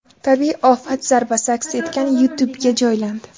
Tabiiy ofat zarbasi aks etgan YouTube’ga joylandi .